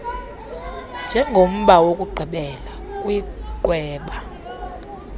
njengomba wokugqibela kwiqwewe